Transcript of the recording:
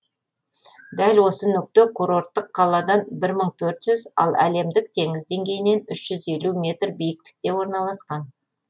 дәл осы нүкте курорттық қаладан бір мың төрт жүз ал әлемдік теңіз деңгейінен үш жүз елу метр биіктікте орналасқан